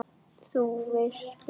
Þú veist að bruna